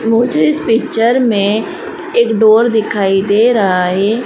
मुझे इस पिक्चर में एक डोर दिखाई दे रहा है।